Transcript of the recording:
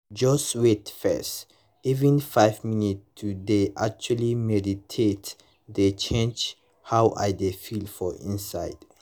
just wait first — even five minutes to dey actually meditate dey change how i dey feel for inside